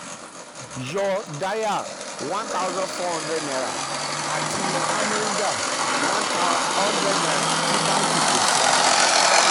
yọ yọ dayal ₦ one thousand four hundred àti amrinder um ₦ one hundred tí bánkì kò san.